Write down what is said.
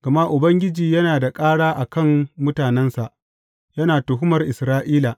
Gama Ubangiji yana da ƙara a kan mutanensa; yana tuhumar Isra’ila.